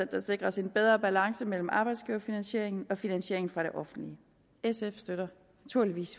der sikres en bedre balance mellem arbejdsgiverfinansieringen og finansieringen fra det offentlige sf støtter naturligvis